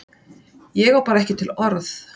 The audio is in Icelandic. Ég á bara ekki til orð.